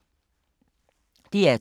DR2